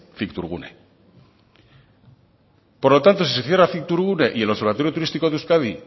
cictourgune por lo tanto si se cierra cictourgune y el observatorio turístico de euskadi